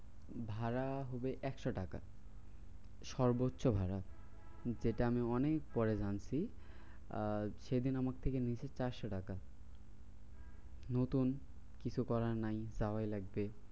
ভাড়া হবে একশো টাকা। সর্বোচ্চ ভাড়া। কিন্তু সেটা আমি অনেক পরে জানছি আহ সেদিন আমার থেকে নিয়েছে চারশো টাকা। নতুন কিছু করার নেই যাওয়াই লাগবে